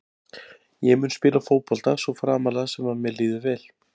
Ég mun spila fótbolta svo framarlega sem að mér líður vel.